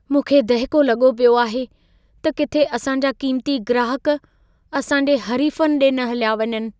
मूंखे दहिको लॻो पियो आहे त किथे असां जा कीमती ग्राहक असां जे हरीफनि ॾे न हलिया वञनि।